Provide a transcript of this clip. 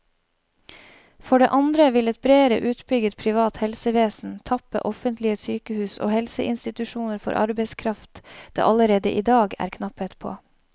For det andre vil et bredere utbygget privat helsevesen tappe offentlige sykehus og helseinstitusjoner for arbeidskraft det allerede i dag er knapphet på.